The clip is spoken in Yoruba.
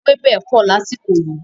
Ewébẹ̀ pọ̀ lásìkò yìí.